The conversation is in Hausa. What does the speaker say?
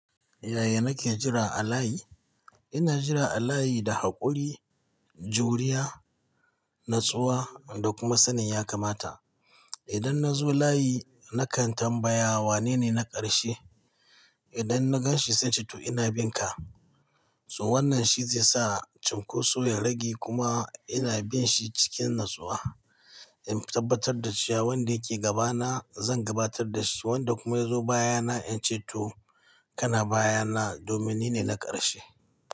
Yaya nake jira a layi? Ina jira a layi da haƙuri, juriya, natsuwa da kuma sanin ya kamata. Idan na zo layi nakan tambaya wanene na ƙarshe. Idan na gan shi zan ce to ina bin ka. So wannan shi zai sa cunkoso ya rage kuma ina bin shi cikin natsuwa. In tabbatar da cewa wanda yake gaba na zan gabatar da shi wanda kuma ya zo baya na in ce to kana baya na domin nine na ƙarshe.